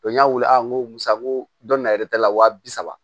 n y'a weele a ko san ko dɔ na yɛrɛ ta la wa bi saba